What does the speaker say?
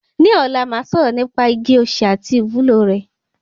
Ní ọ̀la màá sọ̀rọ̀ nípa igi osè àti ìwúlò rẹ̀.